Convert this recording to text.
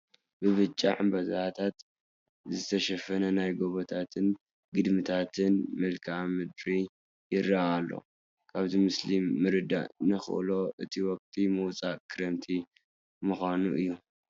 ብብጫ ዕንበባታት ዝተሸፈነ ናይ ጐቦታትን ግድምታትን መልክአ ምድሪ ይርአ ኣሎ፡፡ ካብዚ ምስሊ ምርዳእ ንኽእሎ እቲ ወቕቲ ምውፃእ ክረምቲ ምዃኑ እዩ፡፡